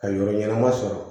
Ka yɔrɔ ɲɛnama sɔrɔ